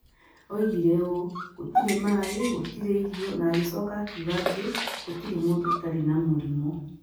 Oigire ũũ: "Gũtirĩ maĩ, gũtirĩ irio", na agĩcooka akiuga atĩ "gũtirĩ mũndũ ũtarĩ na mũrimũ".